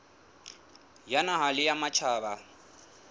ya naha le ya matjhaba